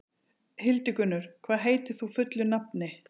Hildigunnur, hvað heitir þú fullu nafni?